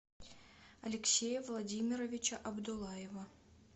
алексея владимировича абдуллаева